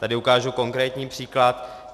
Tady ukážu konkrétní příklad.